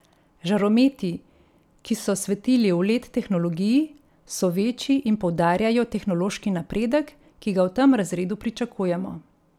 Žarometi, ki so svetili v led tehnologiji, so večji in poudarjajo tehnološki napredek, ki ga v tem razredu pričakujemo.